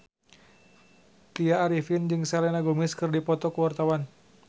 Tya Arifin jeung Selena Gomez keur dipoto ku wartawan